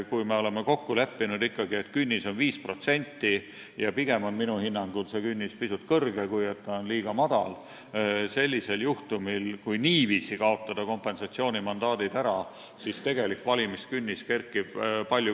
Kui me oleme ikka kokku leppinud, et künnis on 5% – ja minu hinnangul on see künnis pigem pisut kõrge, mitte liiga madal –, siis sellisel juhtumil, kui niiviisi kaotada kompensatsioonimandaadid ära, kerkib tegelik valimiskünnis palju kõrgemale.